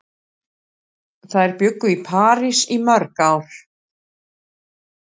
Þær bjuggu í París í mörg ár.